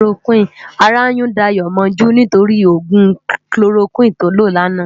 Àrá yún Dayo mòjú nitóri ógún kólórókwin tó ló làná